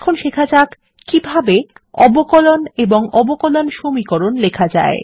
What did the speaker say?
এখন শেখা যাক কিভাবে অবকলন এবং অবকলন সমীকরণ লেখা যায়